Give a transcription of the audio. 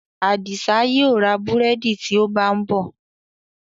Adisa yíò rá búrẹ́dì tí ó bá nbó.